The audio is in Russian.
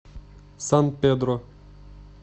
сан педро